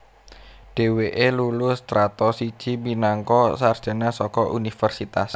Dhèwèké lulu Strata siji minangka sarjana saka Universitas